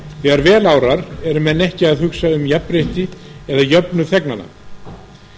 þegar vel árar eru menn ekki að hugsa um jafnrétti eða jöfnuð þegnanna